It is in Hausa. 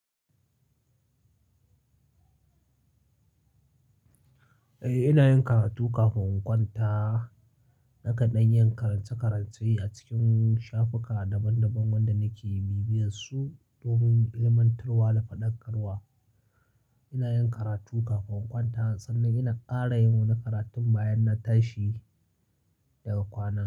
Eh, ina yin karatu kafin in kwanta. Nakan dan yin karance-karance a cikin shafika daban-daban wanda nake bibiyarsu ko min ilimantarwa da fadakarwa ina yin karatu kafin in kwanta sannan ina ƙara yin wani karatun bayan na tashi daga kwana.